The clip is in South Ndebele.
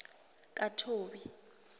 kathobi